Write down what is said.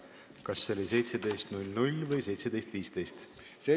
Kas see on kell 17.00 või 17.15?